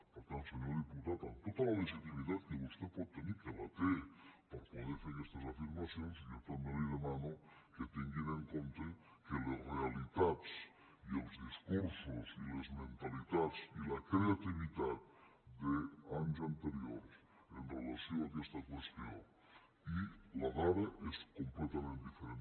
per tant senyor diputat amb tota la legitimitat que vostè pot tenir que la té per a poder fer aquestes afir·macions jo també li demano que tinguin en compte que les realitats i els discursos i les mentalitats i la cre·ativitat d’anys anteriors amb relació a aquesta qüestió i la dada són completament diferents